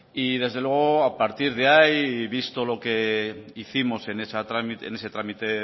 y desde luego y a partir de ahí y visto lo que hicimos en ese trámite